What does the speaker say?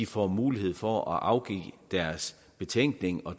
får mulighed for at afgive deres betænkning og